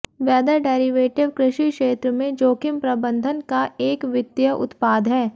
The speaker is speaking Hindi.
वेदर डेरिवेटिव कृषि क्षेत्र में जोखिम प्रबंधन का एक वित्तीय उत्पाद है